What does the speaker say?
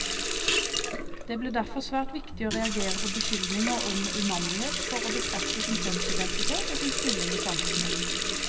Det ble derfor svært viktig å reagere på beskyldninger om umandighet for å bekrefte sin kjønnsidentitet, og sin stilling i samfunnet.